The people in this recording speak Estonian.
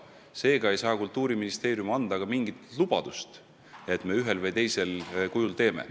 Seega ei saa Kultuuriministeerium anda ka mingit lubadust, et me ühel või teisel kujul seda teeme.